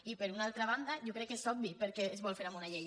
i per una altra banda jo crec que és obvi per què es vol fer amb una llei